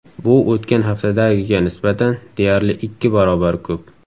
Bu o‘tgan haftadagiga nisbatan deyarli ikki barobar ko‘p.